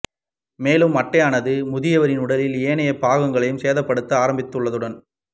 மேலும் அட்டையானது முதியவரின் உடலின் ஏனைய பாகங்களையும் சேதப்படுத்த ஆரம்பித்துள்ளதுடன்